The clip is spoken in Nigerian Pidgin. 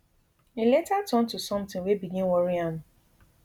e later turn to sometin wey begin worry am